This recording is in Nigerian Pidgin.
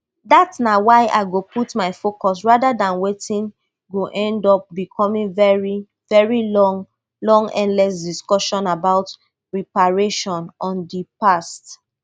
dat na wia i go put my focus rather dan wetin go end up becoming very very long long endless discussions about reparations on di past